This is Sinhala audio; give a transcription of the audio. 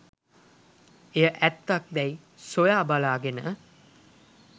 එය ඇත්තක් දැයි සොයා බලාගෙන